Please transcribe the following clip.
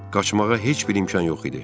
Qaçmağa heç bir imkan yox idi.